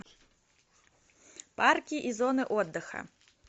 парки и зоны отдыха